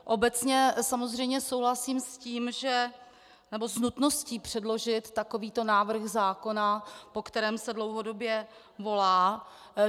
Obecně samozřejmě souhlasím s nutností předložit takovýto návrh zákona, po kterém se dlouhodobě volá.